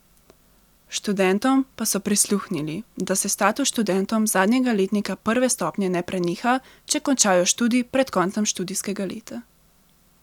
Študentom pa so prisluhnili, da se status študentom zadnjega letnika prve stopnje ne preneha, če končajo študij pred koncem študijskega leta.